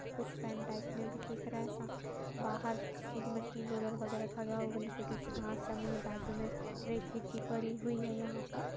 कुछ fan type में भी दिख रहा है सा बाहर किसी मशीन रोलर वगेरा खड़ा छोटी सी घास जमी है बाजु में रेत मिट्टी पड़ी हुई है यहां पर।